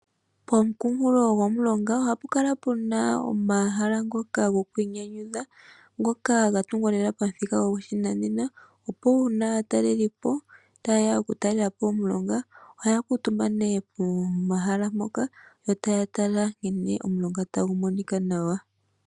Poonkulo gomulonga ohapu kala pena omahala gokwiinyanyudha ngoka gatungwa lela pamuthika goshinanena opo uuna aatalelipo taye ya okutalelapo omulonga ohaya kuutumba nee pomahala mpoka yo taya tala nkene omulonga tagu monika nawa.